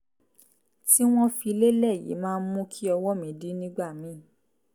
tí wọ́n fi lélẹ̀ yìí máa ń mú kí ọwọ́ mi dí nígbà míì